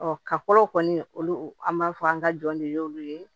ka fɔlɔ kɔni olu an b'a fɔ an ka jɔn de y'olu ye